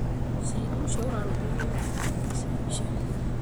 Cira ũcio ũrarũmbũyagia ihooto ciake cia mbica.